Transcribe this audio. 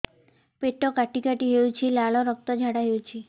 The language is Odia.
ପେଟ କାଟି କାଟି ହେଉଛି ଲାଳ ରକ୍ତ ଝାଡା ହେଉଛି